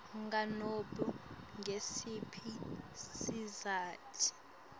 nganobe ngusiphi sizatfu